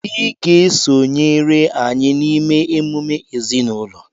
ị ga-esonyere anyị n'ịme emume ezinụlọ!